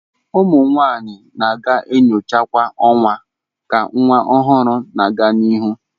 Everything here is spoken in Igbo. Ụmụ nwanyị na-aga nyocha kwa ọnwa ka nwa ọhụrụ na-aga n'ihu.